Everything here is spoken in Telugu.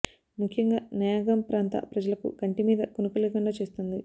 ముఖ్యంగా నయాగామ్ ప్రాంత ప్రజలకు కంటి మీద కునుకు లేకుండా చేస్తోంది